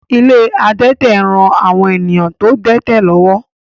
Ilé àwọn adẹ́tẹ̀ ń ran àwọn èèyàn tó dẹ́tẹ̀ lọ́wọ́